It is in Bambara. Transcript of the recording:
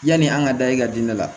Yani an ka da i ka diinɛ la